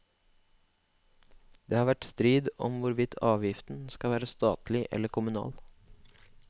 Det har vært strid om hvorvidt avgiften skal være statlig eller kommunal.